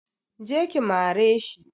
Je ki mare shi!